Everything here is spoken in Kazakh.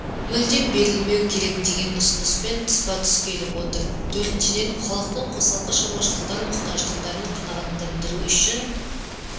мүлдем берілмеу керек деген ұсыныспен тұспа-тұс келіп отыр төртіншіден халықтың қосалқы шаруашылықтар мұқтаждықтарын қанағаттандыру үшін